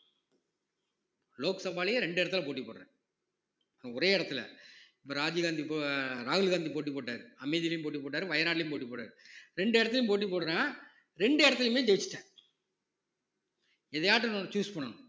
லோக்சபாலயும் ரெண்டு இடத்துல போட்டி போடுறேன் ஒரே இடத்துல இப்ப ராஜீவ் காந்தி போ~ ராகுல் காந்தி போட்டி போட்டாரு போட்டி போட்டாரு வயநாடுலையும் போட்டி போட்டாரு ரெண்டு இடத்திலேயும் போட்டி போடுறேன் ரெண்டு இடத்திலேயுமே ஜெயிச்சிட்டேன் எதையாச்சும் ஒன்னு choose பண்ணணும்